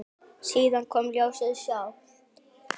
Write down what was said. Síðan kom ljóðið sjálft: